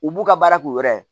U b'u ka baara k'u yɛrɛ ye